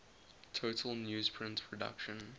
total newsprint production